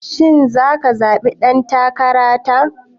Shin zaka zaɓi ɗan takara ta?